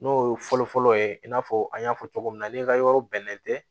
N'o ye fɔlɔ fɔlɔ ye i n'a fɔ an y'a fɔ cogo min na n'i ka yɔrɔ bɛnnen tɛ